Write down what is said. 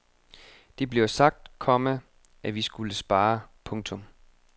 Det blev sagt, komma at vi skulle spare. punktum